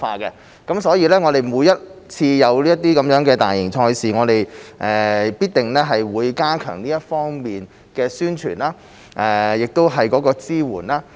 因此，每次有大型賽事，我們必定會加強這方面的宣傳和支援。